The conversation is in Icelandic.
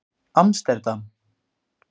Amsterdam